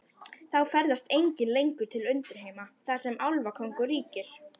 Þá ferðast engir lengur til undirheima, þar sem álfakóngur ríkir.